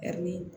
Ɛri